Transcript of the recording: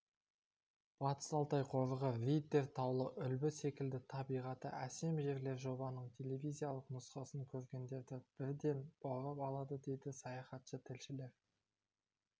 батыс-алтай қорығы риддер таулы үлбі секілді табиғаты әсем жерлер жобаның телевизиялық нұсқасын көргендерді бірден баурап алады дейді саяхатшы тілшілер